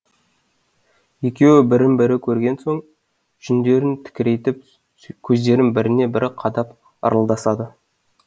екеуі бірін бірі көрген соң жүндерін тікірейтіп көздерін біріне бірі қадап ырылдасады